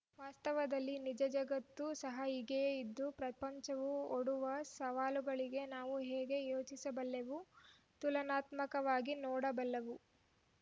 ವಾಸ್ತವದಲ್ಲಿ ನಿಜ ಜಗತ್ತು ಸಹ ಹೀಗೆಯೇ ಇದ್ದು ಪ್ರಪಂಚವು ಒಡ್ಡುವ ಸವಾಲುಗಳಿಗೆ ನಾವು ಹೇಗೆ ಯೋಚಿಸಬಲ್ಲೆವು ತುಲನಾತ್ಮಕವಾಗಿ ನೋಡಬಲ್ಲವು